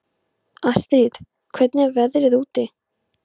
Astrid, hvernig er veðrið úti?